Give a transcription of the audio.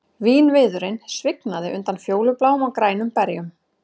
Vínviðurinn svignaði undan fjólubláum og grænum berjum